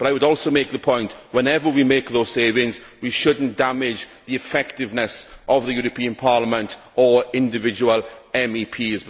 But I would also make the point that, wherever we make those savings, we should not damage the effectiveness of the European Parliament or of individual MEPs.